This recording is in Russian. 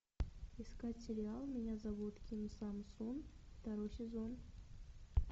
искать сериал меня зовут ким сам сун второй сезон